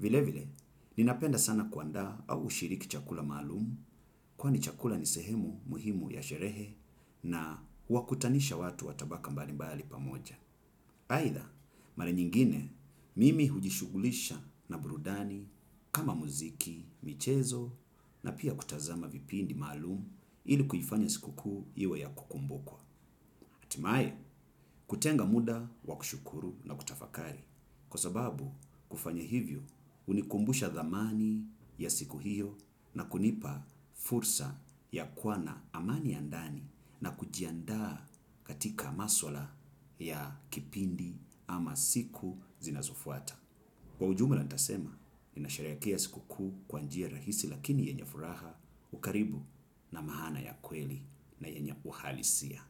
Vile vile, ninapenda sana kuandaa au kushiriki chakula maalum, kwani chakula ni sehemu muhimu ya sherehe na huwakutanisha watu wa tabaka mbali mbali pamoja. Aidha, mara nyingine mimi hujishughulisha na burudani kama muziki, michezo na pia kutazama vipindi maalum ili kuifanya sikukuu iwe ya kukumbukwa. Hatimaye kutenga muda wa kushukuru na kutafakari kwa sababu kufanya hivyo hunikumbusha dhamani ya siku hiyo na kunipa fursa ya kuwa na amani ya ndani na kujiandaa katika maswala ya kipindi ama siku zinazofuata. Kwa ujumla nitasema, ninasherehekea siku kuu kwa njia rahisi lakini yenye furaha, ukaribu na maana ya kweli na yenye uhalisia.